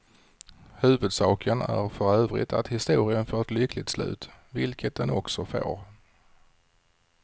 Huvudsaken är för övrigt att historien får ett lyckligt slut, vilket den också får.